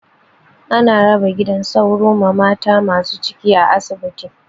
Ana raba gidan sauro ma mata masu ciki a asibiti.